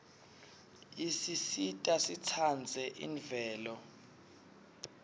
isisita sitsandze imvelo